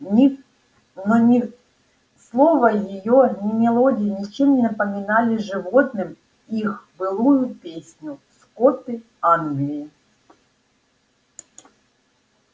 но ни слова её ни мелодия ничем не напоминали животным их былую песню скоты англии